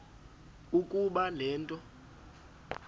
ukuba le nto